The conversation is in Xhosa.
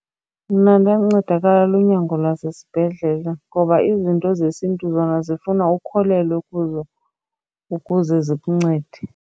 Mna ndancedakala lunyango lwasesibhedlele ngoba izinto zesiNtu zona zifuna ukholelwe kuzo ukuze zikuncede.